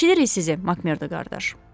Eşidirik sizi, Makmerdo qardaş.